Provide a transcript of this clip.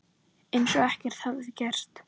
Eins og ekkert hefði gerst.